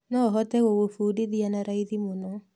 No hote gũgũbundithia nĩ raithi mũno.